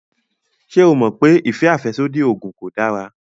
Ṣé o mọ̀ pé ìfẹ́ àfẹ́sódì oògùn kò dára?